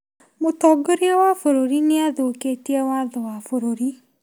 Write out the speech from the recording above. Mũtongoria wa bũrũri nĩ athũkĩtie watho wa bũrũri.